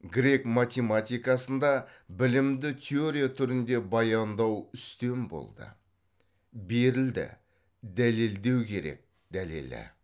грек математикасында білімді теория түрінде баяндау үстем болды берілді дәлелдеу керек дәлелі